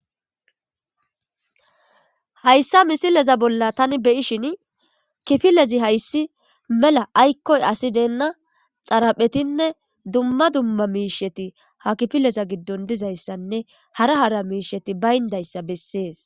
hayssa misileza bolla tani beyi shin kifilezi hayssi mela aykkoy asi deenna xaraphetinne dumma dumma miisheti ha kifileza giddon dizayssanne hara hara miisheti bayndayssa bessees